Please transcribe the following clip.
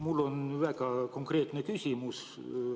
Mul on väga konkreetne küsimus.